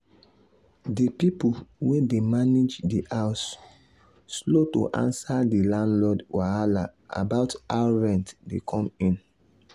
the people wey dey manage the house slow to answer the landlord wahala about how rent dey come in.